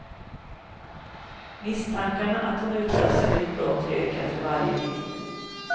Misstankarna att hon utsatts för ett brott ökar för varje dygn.